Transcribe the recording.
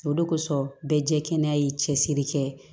O de kosɔn bɛɛ jɛkɛnɛ ye cɛsiri kɛ